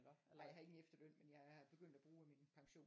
Ej jeg har ikke lige efterløn men jeg er begyndt at bruge af min pension